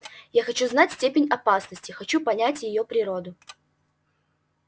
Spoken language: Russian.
я хочу знать степень опасности хочу понять её природу